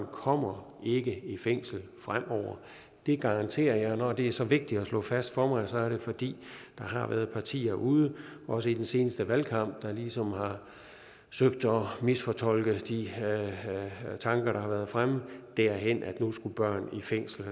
kommer ikke i fængsel fremover det garanterer jeg når det er så vigtigt at slå fast for mig er det fordi der har været partier ude også i den seneste valgkamp der ligesom har søgt at misfortolke de tanker der har været fremme derhen at nu skulle børn i fængsel og